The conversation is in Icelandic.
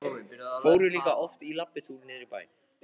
Fóru líka oft í labbitúr niður í bæ.